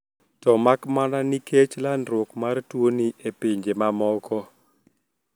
To makmana nikech landruok mar tuoni e pinje mamoko